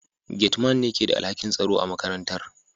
Gate Man ne ke da alhakin tsaro a makarantar